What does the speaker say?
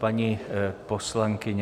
Paní poslankyně...